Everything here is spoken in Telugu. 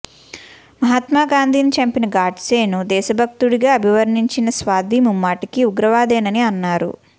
మహాత్మాగాంధీని చంపిన గాడ్సేను దేశభక్తుడిగా అభివర్ణించిన సాధ్వి ముమ్మాటికీ ఉగ్రవాదేనని అన్నారు